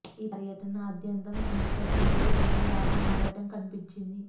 ఈ పర్యటన ఆద్యంతం ప్రిన్స్ కోసం తెలుగు తమ్ముళ్లు పడిన ఆరాటం కనిపించింది